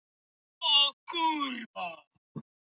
En þetta er ekki rétta aðferðin.